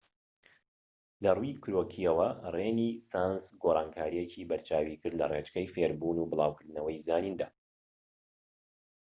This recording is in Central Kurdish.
لە ڕووی کرۆکییەوە رێنیسانس گۆڕانکاریەکی بەرچاوی کرد لە ڕێچکەی فێڕبوون و بڵاوکردنەوەی زانیندا